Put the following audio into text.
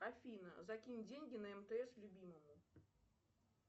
афина закинь деньги на мтс любимому